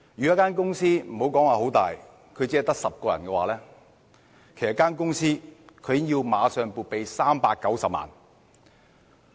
一間規模不大、只有10名僱員的公司，已經立即要撥備390萬元。